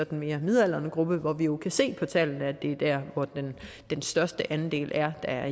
den midaldrende gruppe hvor vi jo kan se på tallene at er der hvor den største andel er der